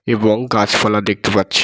এবং গাছ পালা দেখতে পাচ্ছি।